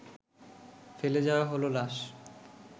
ফেলে যাওয়া হলো লাশ